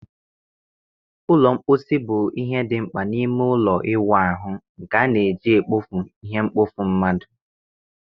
Ụlọ mposi bụ ihe dị mkpa n'ime ime ụlọ ịwụ ahụ, nke a na-eji ekpofu ihe mkpofu mmadụ